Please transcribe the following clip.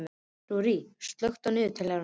Rúrí, slökktu á niðurteljaranum.